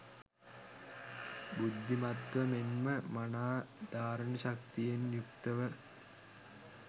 බුද්ධිමත්ව මෙන්ම මනා ධාරණ ශක්තියෙන් යුක්තව